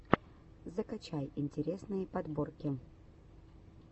закачай интересные подборки